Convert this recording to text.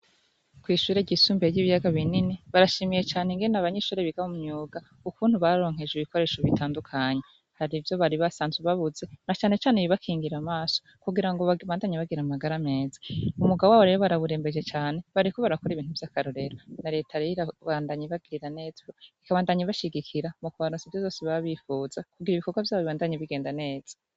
Kw'ishure ryisumbuye ry'ibiyaga binini barashimiye cane ingene abanyeshure biga mu myuga ukuntu baronkejwe ibikoresho bitandukanye, har'ivyo bari basanzwe babuze na cane cane ibibakingira amaso kugira babandanye bagira amagara meza. Umwuga wabo rero barawurembeje cane bariko bakora ibintu ibintu vy'akarorero, na reta rero irabandanya ibagirira neza, ibandanya ibashigikira bakabona zose baba bifuza kugira ngo ibikorwa vyabo bibashe kugenda neza.